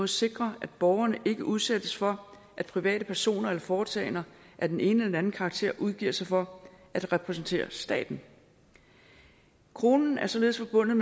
sikre at borgerne ikke udsættes for at private personer eller foretagender af den ene eller den anden karakter udgiver sig for at repræsentere staten kronen er således forbundet